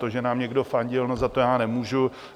To, že nám někdo fandil, no, za to já nemůžu.